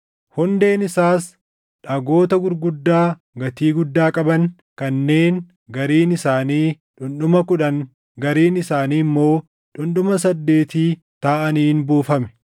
Hundeen isaas dhagoota gurguddaa gatii guddaa qaban kanneen gariin isaanii dhundhuma kudhan gariin isaanii immoo dhundhuma saddeeti taʼaniin buufame.